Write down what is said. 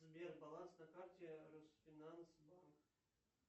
сбер баланс на карте русфинанс